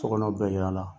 Sokɔnɔ bɛɛ y'a la